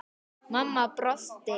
Mamma brosti.